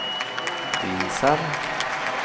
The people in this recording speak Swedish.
visar